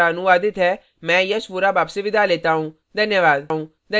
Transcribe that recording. धन्यवाद